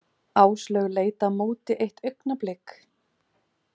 Áslaug leit á móti eitt augnablik.